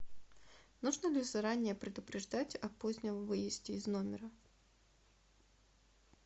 нужно ли заранее предупреждать о позднем выезде из номера